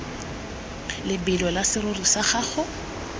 lebelo la serori sa gago